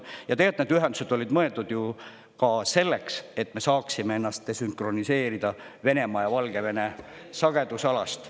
Ja tegelt need ühendused olid mõeldud ju ka selleks, et me saaksime ennast desünkroniseerida Venemaa ja Valgevene sagedusalast.